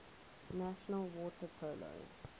national water polo